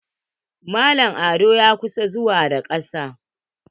Mallam ado ya ƙusa zuwa da kasa.